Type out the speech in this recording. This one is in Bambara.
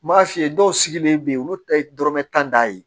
N m'a f'i ye dɔw sigilen bɛ yen olu ta ye dɔrɔmɛ tan da ye